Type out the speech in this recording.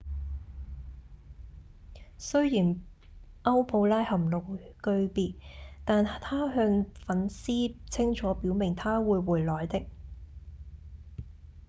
雖然歐普拉含淚告別但她向粉絲清楚表明她會回來的